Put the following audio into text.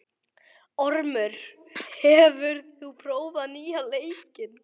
Ormur, hefur þú prófað nýja leikinn?